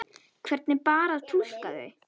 Hvernig bar að túlka þau?